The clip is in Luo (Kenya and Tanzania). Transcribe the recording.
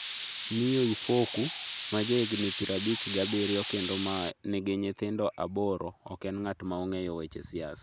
Miyo Ifoku, ma ja higni pirabich gi adek kendo ma nigi nyithindo aboro, ok en ng’at ma ong’eyo weche siasa.